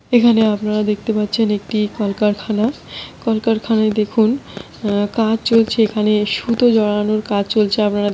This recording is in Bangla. আপনারা দেখতে পাচ্ছেন একটি কলকারখানা। কলকারখানায় দেখুন আ কাজ চলছে এখানে সুতো জড়ানোর কাজ চলছে। আপনারা দেখেই বুঝতে পারছেন।